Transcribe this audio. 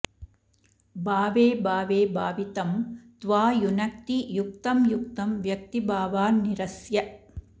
भावे भावे भावितं त्वा युनक्ति युक्तं युक्तं व्यक्तिभावान्निरस्य